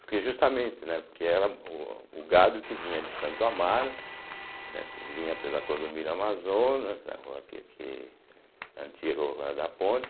Porque justamente, né, porque era o gado que vinha de Santo Amaro, né, vinha pela Clodomiro Amazonas, a rua aqui que antiga Rua da Ponte,